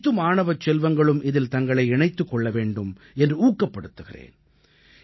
அனைத்து மாணவச் செல்வங்களும் இதில் தங்களை இணைத்துக் கொள்ள வேண்டும் என்று ஊக்கப்படுத்துகிறேன்